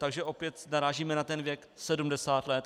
Takže opět narážíme na ten věk 70 let.